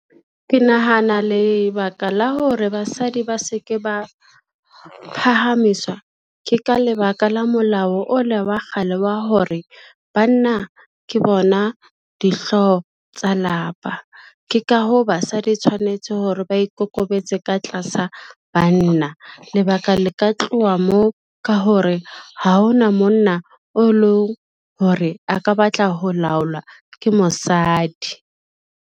Ke nahana lebaka la hore basadi ba se ke ba phahamiswa, ke ka lebaka la molao o le wa kgale wa hore banna ke bona dihlooho tsa lapa. Ke ka hoo, basadi tshwanetse hore ba ikokobetse ka tlasa banna, lebaka le ka tloha moo ka hore, ha ona monna o leng hore a ka batla ho laolwa ke mosadi.